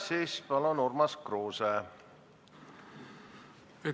Siis palun, Urmas Kruuse!